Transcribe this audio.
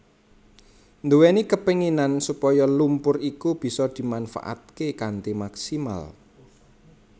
nduwèni kapenginan supaya lumpur iku bisa dimanfaataké kanthi maksimal